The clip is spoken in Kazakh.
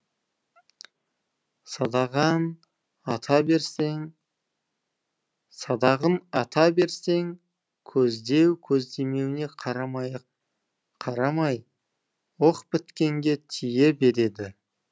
ата берсең садағын ата берсең көздеу көздемеуіне қарамай қарамай оқ біткенге тие береді